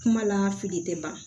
Kuma la fili tɛ ban